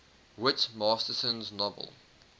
whit masterson's novel